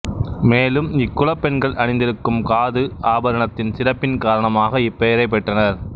மேலும் இக்குல பெண்கள் அணிந்திருக்கும் காது ஆபரணத்தின் சிறப்பின் காரணமாக இப்பெயரை பெற்றனர்